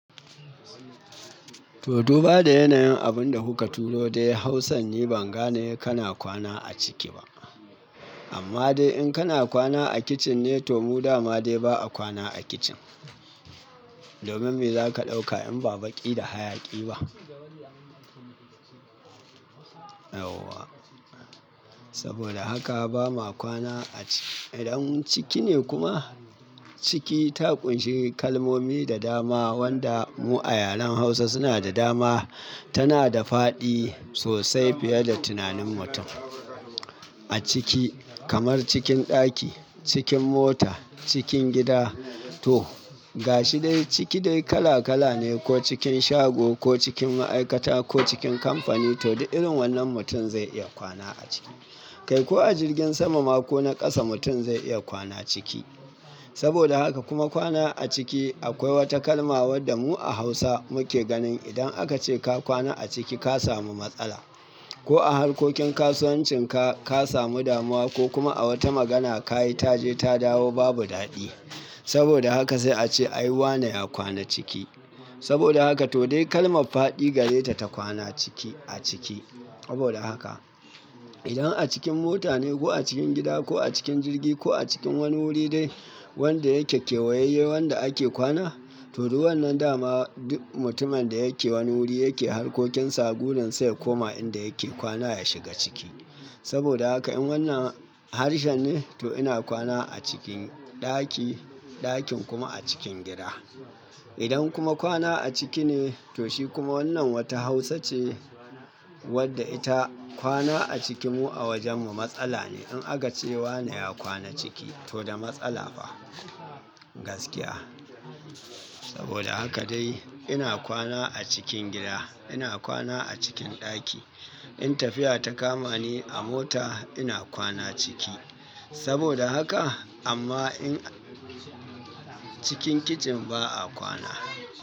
To, to ba da yanayin abun da kuka turo dai Hausa ni ban gane kana kwana a ciki ba. Amma dai in kana kwana a kicin ne to mu dama dai ba a kwana a kicin. Domin me za ka ɗauka in ba baƙi da hayaƙi ba? Auwa! Saboda haka ba ma kwana a ciki. Idan ciki ne kuma, ciki ta ƙunshi kalmomi da dama wanda mu a yaren Hausa suna da dama. Tana da faɗi sosai fiye da tunanin mutum. A ciki kamar cikin ɗaki, cikin mota, cikin gida to gashi dai ciki dai kala kala ne ko cikin shago ko cikin ma'aikata ko cikin kamfani to da irin wannan mutum zai iya kwana a ciki. Kai ko a jirgin sama ma ko na ƙasa mutum zai iya kwana ciki. Saboda haka kuma kwana a ciki akwai wata kalma wadda mu a Hausa muke ganin idan aka ce ka kwana a ciki ka samu matsala. Ko a harkokin kasuwancin ka, ka samu damuwa ko kuma a wata magana ka yi ta je ta dawo babu daɗi. Saboda haka sai a ce "ai wane ya kwana ciki." Saboda haka to dai kalmar faɗi gare ta ta kwana ciki a ciki. Saboda haka idan a cikin mota ne ko a cikin gida ko a cikin jirgi ko a cikin wani wuri dai wanda yake kewayayye wanda ake kwana to du wannan dama duk mutumin da yake wani wuri yake harkokin sa, gurin sa ya koma inda yake kwana ya shiga ciki. Saboda haka in wannan harshe ne to ina kwana a cikin ɗaki, ɗakin kuma a cikin gida. Idan kuma kwana a ciki ne to shi kuma wannan wata Hausa ce wadda ita kwana a ciki mu a wajen mu matsala ne in aka ce wane ya kwana ciki to da matsala fa. Gaskiya. Saboda haka dai ina kwana a cikin gida, ina kwana a cikin ɗaki. In tafiya ta kama ni a mota ina kwana ciki. Saboda haka amma in cikin kicin ba a kwana.